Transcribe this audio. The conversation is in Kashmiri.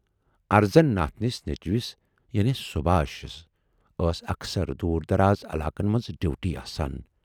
ارزن ناتھنِس نیچوِس یعنے سُبھاشسؔ ٲس اکثر دوٗر دَراز علاقن منز ڈیوٗٹی آسان۔